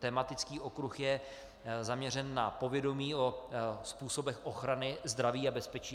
Tematický okruh je zaměřen na povědomí o způsobech ochrany zdraví a bezpečí.